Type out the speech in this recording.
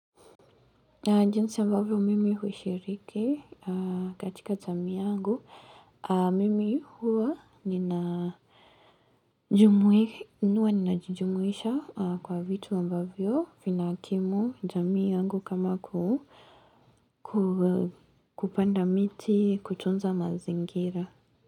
Jinsi ambavyo mimi hushiriki katika jamii yangu, mimi huwa ninajumuisha kwa vitu ambavyo vinakimu jamii yangu kama kupanda miti kutunza mazingira.